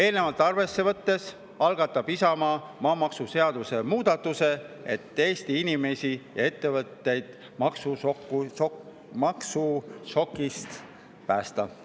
Eelnevat arvesse võttes algatab Isamaa maamaksuseaduse muudatuse, et Eesti inimesi ja ettevõtjaid maksušokist päästa.